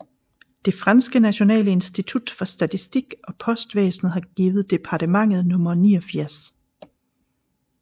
Det franske nationale institut for statistik og postvæsnet har givet departementet nummer 89